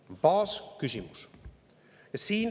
See on baasküsimus.